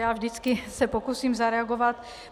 Já se vždycky pokusím zareagovat.